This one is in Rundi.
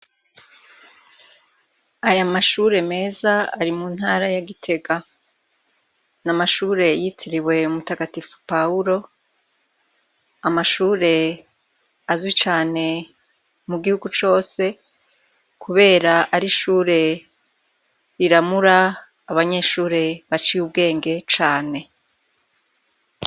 Aya mashure meza ari mu ntara ya Gitega. Ni amashure yitiriwe mutagatifu Pawuro, amashure azwi cane mu gihugu cose, kubera ari ishure riramura abanyeshure baciye ubwenge cane.